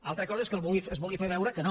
altra cosa és que es vulgui fer veure que no